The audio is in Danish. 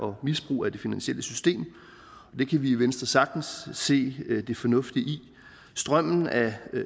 og misbrug af det finansielle system det kan vi i venstre sagtens se det fornuftige i strømmen af